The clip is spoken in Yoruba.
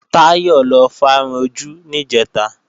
Táyọ̀ lọ fárun ojú níjẹ̀ta